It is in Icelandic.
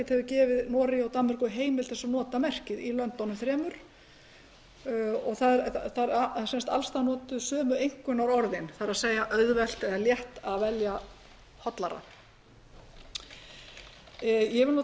hefur gefið noregi og danmörku heimild til að nota merkið í löndunum þremur og það er sem sagt alls staðar notuð sömu einkunnarorð það er auðvelt eða létt er að velja hollara ég vil